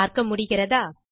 பார்க்க முடிகிறதா